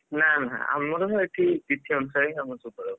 ନା ନା ଆମର ସବୁ ଏଠି ତିଥି ଅନୁସାରେ ହିଁ ହବ ସବୁ ପର୍ବ, ତମର?